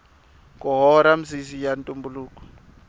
ku hora misisi ya ntumbuluko